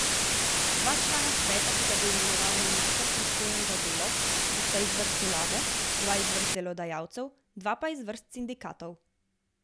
Dva člana sveta, ki ga bo imenoval minister, pristojen za delo, bosta iz vrst vlade, dva iz vrst delodajalcev, dva pa iz vrst sindikatov.